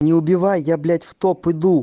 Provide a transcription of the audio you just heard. не убивай я блять в топ иду